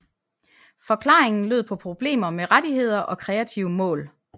Forklaringen lød på problemer med rettigheder og kreative mål